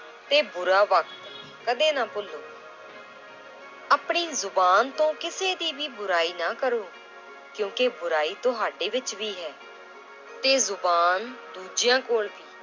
ਤੇ ਬੁਰਾ ਵਕਤ ਕਦੇ ਨਾ ਭੁਲੋ l ਆਪਣੀ ਜ਼ੁਬਾਨ ਤੋਂ ਕਿਸੇ ਦੀ ਵੀ ਬੁਰਾਈ ਨਾ ਕਰੋ ਕਿਉਂਕਿ ਬੁਰਾਈ ਤੁਹਾਡੇੇ ਵਿੱਚ ਵੀ ਹੈ l ਤੇ ਜ਼ੁਬਾਨ ਦੂਜਿਆਂਂ ਕੋਲ ਵੀ।